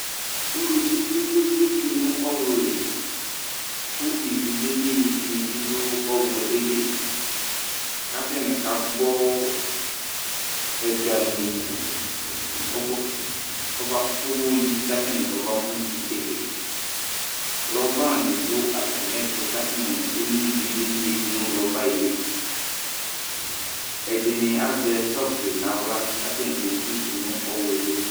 Uluvi kpekpekpe tsue nu ɔwlu li ku ivi lili ni bi du ɔwlu eli, k'ata ni k'agbɔ ɛga mi kɔmɔ kɔba kɔbo'yi k'atani kɔba mu itsede rɔba ni du ata mi ɛtu k'atunu eno iʋi lili ye du nu roba ye li Ɛdini azɛ sɔfi n'awla k'ata ni ke zu du n'ɔwluɛ li